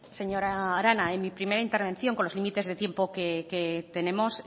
señora arana en mi primera intervención con los límites de tiempo que tenemos